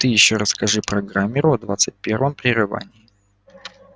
ты ещё расскажи программеру о двадцать первом прерывании